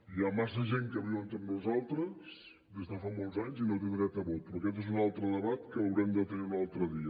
hi ha massa gent que viu entre nosaltres des de fa molts anys i no té dret a vot però aquest és un altre debat que l’haurem de tenir un altre dia